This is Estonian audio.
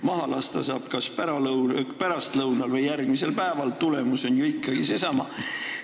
Maha lasta saab kas pärastlõunal või järgmisel päeval, tulemus on ju ikkagi seesama.